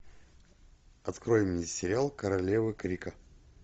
открой мне сериал королевы крика